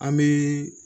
An bɛ